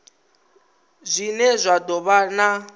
zwine zwa do vha na